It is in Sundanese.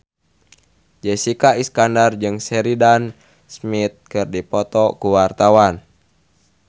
Jessica Iskandar jeung Sheridan Smith keur dipoto ku wartawan